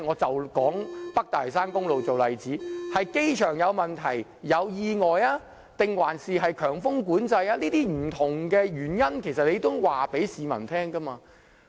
以北大嶼山公路為例，可能是機場有問題或意外，也可能是由於強風管制所致，這種種不同的原因，政府都需要告訴市民。